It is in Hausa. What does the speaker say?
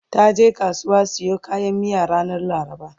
taje kasuwa siyo kayan miyan ranar laraba